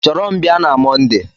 Chọrọ m bịa na Mọnde!